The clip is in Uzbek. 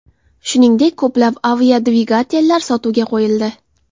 Shuningdek, ko‘plab aviadvigatellar sotuvga qo‘yildi.